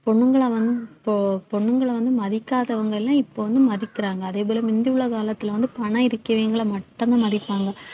பொண்ணுங்கள வந்~ இப்போ பொண்ணுங்கள வந்து மதிக்காதவங்க எல்லாம் இப்ப வந்து மதிக்கறாங்க அதே போல முந்தி உள்ள காலத்துல வந்து பணம் இருக்கிறவங்களை மட்டும்தான் மதிப்பாங்க